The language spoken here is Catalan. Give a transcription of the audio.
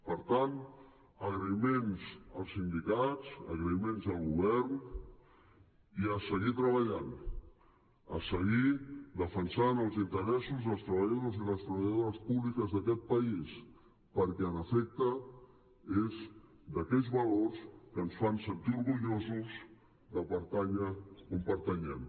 per tant agraïments als sindicats agraïments al govern i a seguir treballant a seguir defensant els interessos dels treballadors i les treballadores públiques d’aquest país perquè en efecte és d’aquells valors que ens fan sentir orgullosos de pertànyer on pertanyem